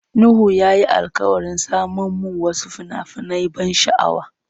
Nuhu ya yi alkawarin saman mun wasu fina-finan ban sha'awa.